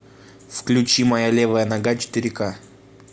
включи моя левая нога четыре ка